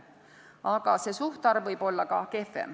Aga see suhtarv võib olla ka kehvem.